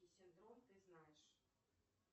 и синдром ты знаешь